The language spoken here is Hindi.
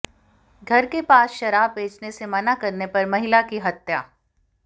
घर के पास शराब बेचने से मना करने पर महिला की हत्या